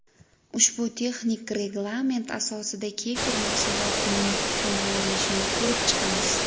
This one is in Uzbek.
Ushbu texnik reglament asosida kefir mahsulotining tamg‘alanishini ko‘rib chiqamiz.